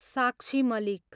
साक्षी मालिक